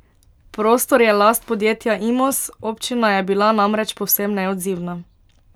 Prostor je last podjetja Imos, občina je bila namreč povsem neodzivna.